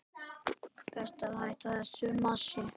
Best að hætta þessu masi.